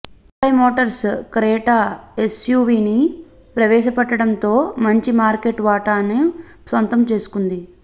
Hyundai Motors Creta ఎస్యూవీని ప్రవేశపెట్టడంతో మంచి మార్కెట్ వాటాను సొంతం చేసుకుంది